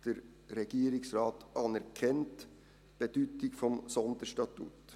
Der Regierungsrat anerkennt die Bedeutung des Sonderstatuts.